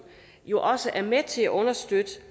jo også er med til at understøtte